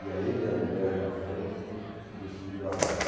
E a ele, a mulher na frente e os filhos atrás.